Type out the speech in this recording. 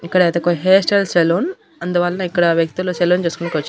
ఇక్కడ అయితే ఒక హెయిర్ స్టైల్ సెలూన్ అందువలన ఇక్కడ వ్యక్తులు సెలూన్ చేసుకోవడానికి వచ్చారు.